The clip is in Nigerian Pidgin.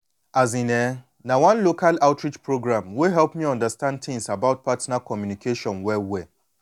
azin eh na one local outreach program wey help me understand things about partner communication well well